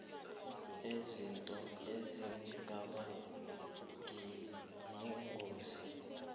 izinto ezingaba yingozi